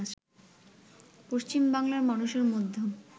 পশ্চিম বাংলার মানুষের মধ্যেও